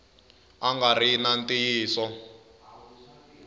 a nga ri na ntiyiso